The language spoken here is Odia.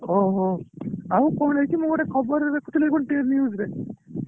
ଓହୋ ଆଉ କଣ ହେଇଛି ମୁ ଗୋଟେ ଖବର ଟେ ଦେଖୁଥିଲି କଣ News ରେ